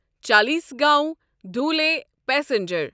Chalisgaon Dhule passenger